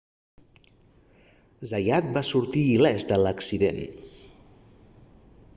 zayat va sortir il·lès d'l'accident